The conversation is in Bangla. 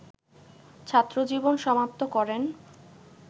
ছাত্রজীবন সমাপ্ত করেন